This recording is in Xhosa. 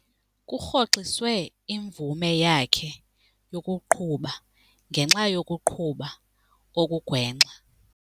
Kurhoxiswe imvume yakhe yokuqhuba ngenxa yokuqhuba okugwenxa.